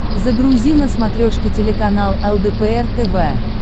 загрузи на смотрешке телеканал лдпр тв